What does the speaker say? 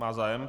Má zájem?